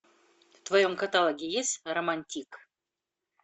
в твоем каталоге есть романтик